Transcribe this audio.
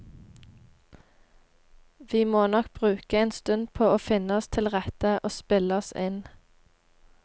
Vi må nok bruke en stund på å finne oss tilrette og spille oss inn.